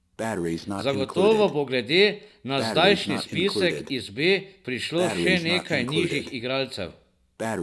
Zagotovo bo glede na zdajšnji spisek iz B prišlo še nekaj nižjih igralcev.